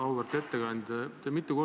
Auväärt ettekandja!